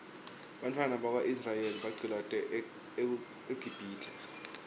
bantfwana baka israel baqcilatwa eqibhitue